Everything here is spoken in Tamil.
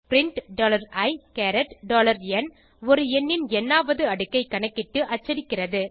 பிரின்ட் iந் ஒரு எண்ணின் ந் ஆவது அடுக்கைக் கணக்கிட்டு அச்சடிக்கிறது